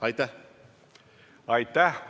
Aitäh!